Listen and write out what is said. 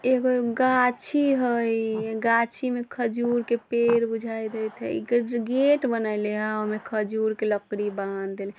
एगो गाछी हई गाछी में खजूर के पेड़ बुझाय देत हई ऐकर गेट बनेले हई ओय में खजूर के लकड़ी बांध देली --